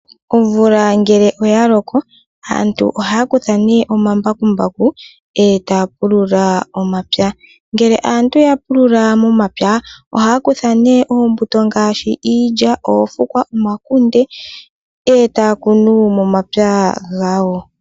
Omvula ngele oya loko , aantu ohaa ne omambakumbaku e taa pulula. Ngele aantu ya pulula momapya, ohaa kutha ne oombuto, ngaashi iilya, oofukwa, omakunde, e taa kunu momapya gawo.